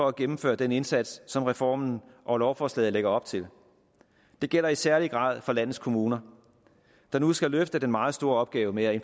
at gennemføre den indsats som reformen og lovforslaget lægger op til det gælder i særlig grad for landets kommuner der nu skal løfte den meget store opgave med at